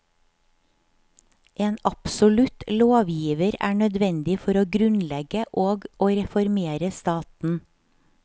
En absolutt lovgiver er nødvendig for å grunnlegge og å reformere staten.